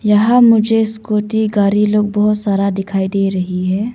यहां मुझे स्कूटी गाड़ी लोग बहुत सारा दिखाई दे रही है।